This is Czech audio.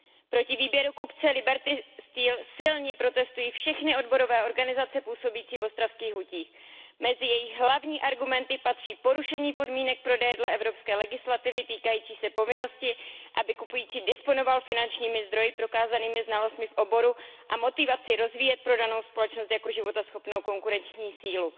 Proti výběru kupce Liberty Steel silně protestují všechny odborové organizace působící v ostravských hutích. Mezi jejich hlavní argumenty patří porušení podmínek prodeje dle evropské legislativy týkající se povinnosti, aby kupující disponoval finančními zdroji, prokázanými znalostmi v oboru a motivací rozvíjet prodávanou společnost jako životaschopnou konkurenční sílu.